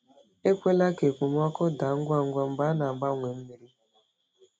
Ekwela ka okpomọkụ daa ngwa ngwa mgbe e na-agbanwe mmiri.